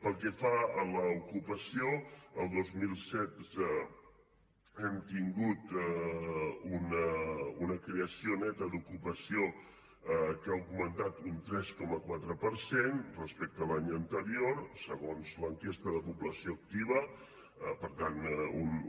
pel que fa a l’ocupació el dos mil setze hem tingut una creació neta d’ocupació que ha augmentat un tres coma quatre per cent respecte a l’any anterior segons l’enquesta de població activa per tant